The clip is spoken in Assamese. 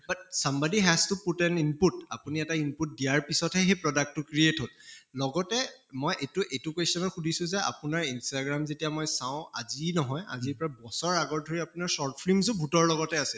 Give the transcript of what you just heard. but somebody has to put an input আপুনি এটা input দিয়াৰ পিছতহে সেই product টো create হʼল, লগতে মই এইটো এইটো question ও সুধিছো যে আপোনাৰ instagram যেতিয়া মই চাওঁ আজি নহয়, আজিৰ পৰা বছৰ আগৰ ধৰি আপোনাৰ short films ও ভূতৰ লগতে আছিল